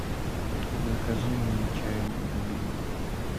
закажи мне чай мой любимый